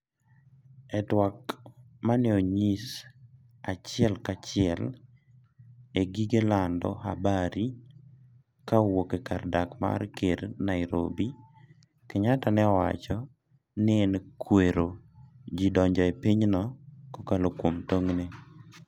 e twak maneonyis achiel ka achiel e gige lando habari ka owuok e kar dak mar ker Nairobi, Kenyatta ne owacho ni en kwero ji donjo e pinyno kokalo kuom tong'e ne